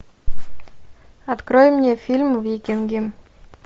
открой мне фильм викинги